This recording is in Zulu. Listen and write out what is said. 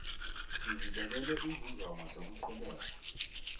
sizibekele izinjongo zokuqhubeka